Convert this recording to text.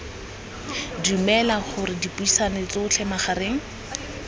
dumela gore dipuisano tsotlhe magareng